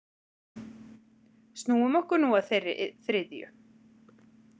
Snúum okkur nú að þeirri þriðju.